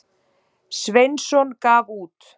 Sveinsson gaf út.